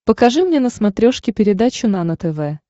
покажи мне на смотрешке передачу нано тв